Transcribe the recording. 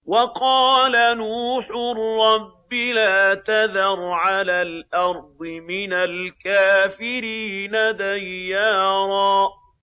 وَقَالَ نُوحٌ رَّبِّ لَا تَذَرْ عَلَى الْأَرْضِ مِنَ الْكَافِرِينَ دَيَّارًا